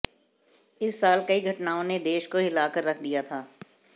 इस साल कई घटनाओं ने देश को हिलाकर रख दिया था